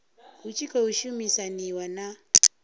hu tshi khou shumisaniwa na